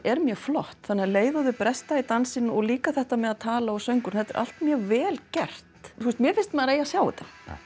er mjög flott þannig að um leið og þau bresta í dansinn og líka þetta með að tala og sönginn þetta er allt mjög vel gert þú veist mér finnst að maður eigi að sjá þetta